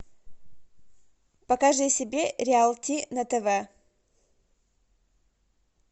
покажи себе реалити на тв